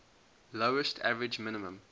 lowest average minimum